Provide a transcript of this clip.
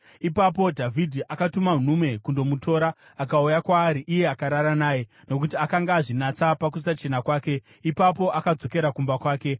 Ipapo Dhavhidhi akatuma nhume kundomutora. Akauya kwaari, iye akarara naye; nokuti akanga azvinatsa pakusachena kwake. Ipapo akadzokera kumba kwake.